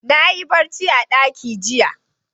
Na yi barci a ɗaki jiya.